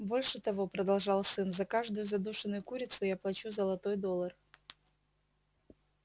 больше того продолжал сын за каждую задушенную курицу я плачу золотой доллар